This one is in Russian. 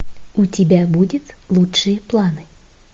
у тебя будет лучшие планы